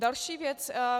Další věc.